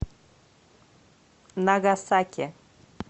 нагасаки